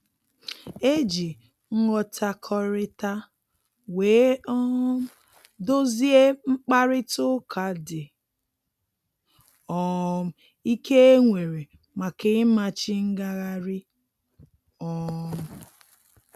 E ji nghọtakọrịta wee um dozie mkparịta ụka dị um ike e nwere maka ịmachi ngagharị um